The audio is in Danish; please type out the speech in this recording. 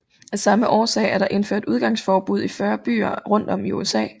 Af samme årsager er der indført udgangsforbud i 40 byer rundt om i USA